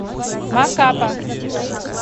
макапа